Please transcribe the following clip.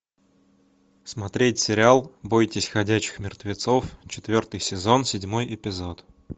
смотреть сериал бойтесь ходячих мертвецов четвертый сезон седьмой эпизод